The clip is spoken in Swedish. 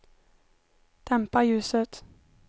dämpa ljuset